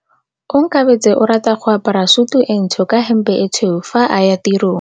Onkabetse o rata go apara sutu e ntsho ka hempe e tshweu fa a ya tirong.